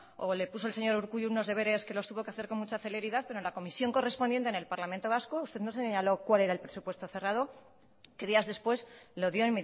o le puso el señor urkullu unos deberes que los tuvo que hacer con mucha celeridad pero en la comisión correspondiente en el parlamento vasco usted no señaló cuál era el presupuesto cerrado que días después lo dio